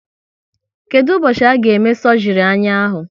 Kedụ ụbọchị a ga eme sọgri anya ahụ?